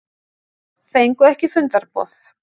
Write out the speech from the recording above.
Fengu ekki fundarboð